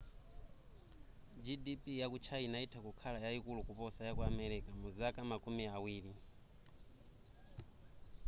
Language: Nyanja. gdp yaku china itha kukhala yayikulu kuposa yaku america muzaka makumi awiri